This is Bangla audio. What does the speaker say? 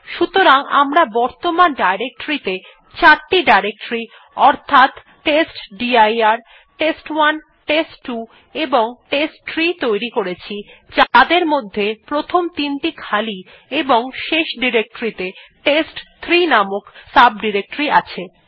সুতরাং আমরা বর্তমান ডিরেক্টরীতে চারটি ডিরেক্টরী অর্থাৎ টেস্টডির টেস্ট1 টেস্ট2 এবং টেস্টট্রি তৈরি করেছি যাদের মধ্যে প্রথমটি তিনটি খালি এবং শেষ ডিরেক্টরীতে টেস্ট3 নামক সাব ডিরেক্টরী আছে